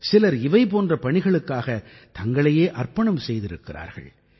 சிலர் இவை போன்ற பணிகளுக்காக தங்களையே அர்ப்பணம் செய்திருக்கிறார்கள்